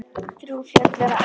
Þrjú fjöll eru á eynni.